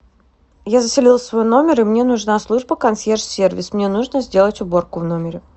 я заселилась в свой номер и мне нужна служба консьерж сервис мне нужно сделать уборку в номере